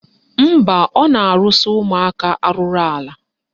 Mba, ọ na-arụsa ụmụaka arụla ala